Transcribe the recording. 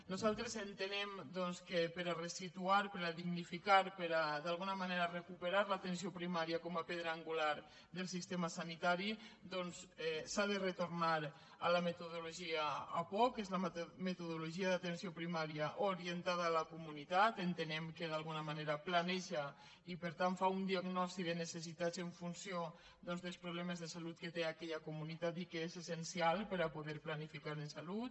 nosaltres entenem doncs que per ressituar per dignificar i per d’alguna manera recuperar l’atenció primària com a pedra angular del sistema sanitari s’ha de retornar a la metodologia apoc que és la metodologia d’atenció primària orientada a la comunitat entenem que d’alguna manera planeja i per tant fa una diagnosi de necessitats en funció doncs dels problemes de salut que té aquella comunitat i que és essencial per poder planificar en salut